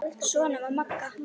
Svona var Magga.